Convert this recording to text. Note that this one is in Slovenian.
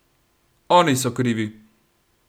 Oni so krivi!